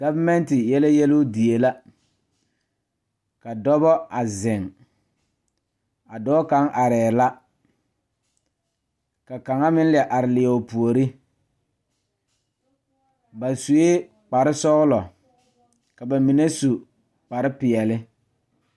Gɔvemɛnte yɛlɛ yeluu die la ka dɔbɔ a zeŋ a dɔɔ kaŋ arɛɛ la ka kaŋa meŋ la are leɛ o puore ba suee kparesɔglɔ ka ba mine su kparepeɛle.